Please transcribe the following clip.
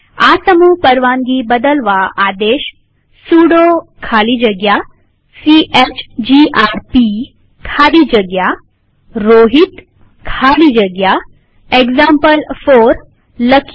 આ સમૂહ પરવાનગી બદલવાઆદેશ સુડો ખાલી જગ્યા સીએચજીઆરપી ખાલી જગ્યા રોહિત ખાલી જગ્યા એક્ઝામ્પલ4 લખીએ